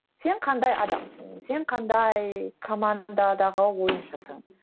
сен қандай адамсың сен қандай командадағы ойыншысың